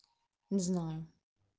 не знаю